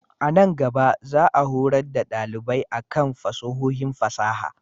A nan gaba, za a horar da dalibai a kan fasahohin fasaha.